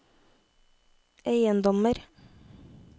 eiendommer